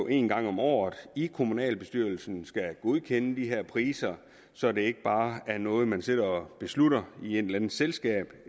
en gang om året i kommunalbestyrelsen skal godkende de her priser så det ikke bare er noget man sidder og beslutter i et eller andet selskab